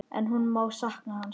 En hún mun sakna hans.